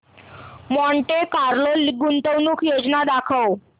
Monte Carlo गुंतवणूक योजना दाखव